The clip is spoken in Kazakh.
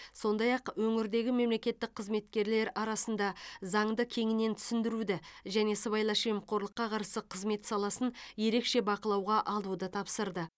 сондай ақ өңірдегі мемлекеттік қызметкерлер арасында заңды кеңінен түсіндіруді және сыбайлас жемқорлыққа қарсы қызмет саласын ерекше бақылауға алуды тапсырды